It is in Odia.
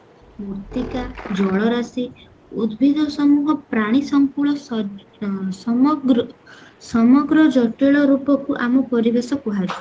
ମୃତ୍ତିକା ଜଳ ରାଶି ଉଦବୀଜ ସମୂହ ପ୍ରାଣୀ ସଙ୍କୁଳ ସ ସମଗ୍ର ସମଗ୍ର ଜଟିଳ ରୂପକୁ ଆମ ପରିବେଶ କୁହାଯାଏ